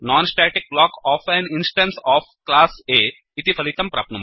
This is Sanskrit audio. non static block of an instance of class A इति फलितं प्राप्नुमः